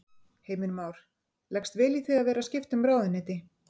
Heimir Már: Leggst vel í þig að vera skipta um ráðuneyti?